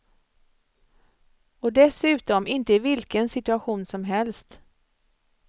Och dessutom inte i vilken situation som helst.